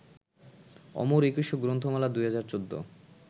অমর একুশে গ্রন্থমেলা ২০১৪